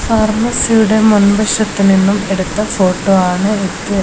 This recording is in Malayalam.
ഫാർമസിയുടെ മുൻവശത്ത് നിന്നും എടുത്ത ഫോട്ടോ ആണ് ഇത്.